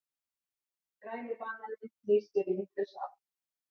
Græni bananinn snýr sér í vitlausa átt.